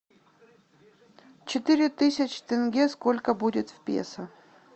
четыре тысячи тенге сколько будет в песо